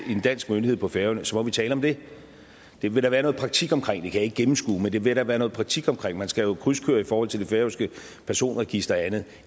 dansk myndighed på færøerne så må vi tale om det det ville der være noget praktik omkring jeg kan ikke gennemskue det men det ville der være noget praktik omkring man skal jo krydskøre i forhold til det færøske personregister og andet